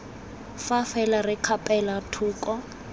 fa fela re kgapela thoko